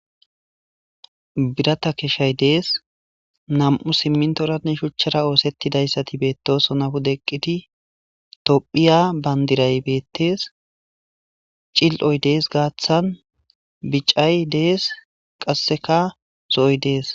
birata keshshay dees nam7u simmintoranne shuchchara oosettidayssati beettosona wude eqqidi tophiya bandiray beettees cil7oy dees gaaththan bicay dees qasseka zo7oy dees